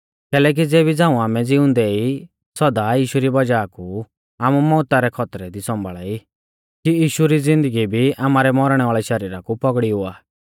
कैलैकि ज़ेबी झ़ांऊ आमै ज़िउंदै ई सौदा यीशु री वज़ाह कु आमु मौउता रै खौतरै दी सौंभाल़ा ई कि यीशु री ज़िन्दगी भी आमारै मौरणै वाल़ै शरीरा कु पौगड़ी हुआ